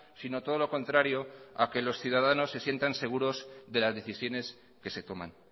sino todo lo contrario a que los ciudadanos se sientan seguros de las decisiones que se toman